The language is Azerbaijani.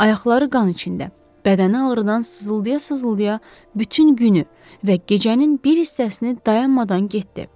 Ayaqları qan içində, bədəni ağrıdan sızıldaya-sızıldaya bütün günü və gecənin bir hissəsini dayanmadan getdi.